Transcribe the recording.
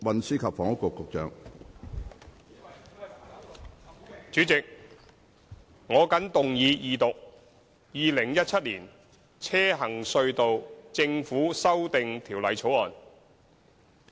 主席，我謹動議二讀《2017年行車隧道條例草案》。